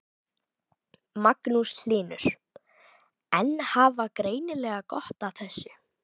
Magnús Hlynur: En hafa greinilega gott af þessu?